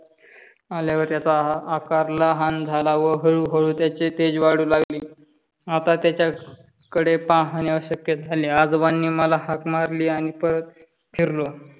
आल्यावर त्याचा आकार लहान झाला व हळूहळू त्याचे तेज वाढू लागले. आता त्याच्या कडे पाहणे अशक्य झाले. आजोबांनी मला हाक मारली आणि परत फिरलो.